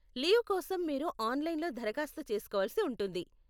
Leave కోసం మీరు ఆన్లైన్లో దరఖాస్తు చేస్కోవలసి ఉంటుంది.